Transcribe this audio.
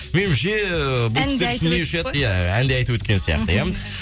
меніңше бұл кісілер әнді айтып өткен сияқты иә